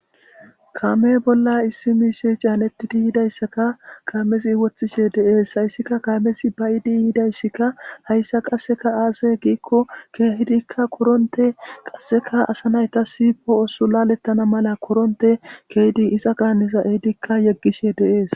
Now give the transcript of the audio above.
kaame bolla issi miishe caanettidi yidayssaka kaamezi wothishe deees hayssika kaamesi bayidi yiidayssikka hayssa qasseka aase giikko keehidikka koronte qasseka asa nayta sipoo7osu lalettana mala koronte keydi isa qaaneza eidikka yeggishe deees